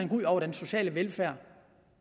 ud over den sociale velfærd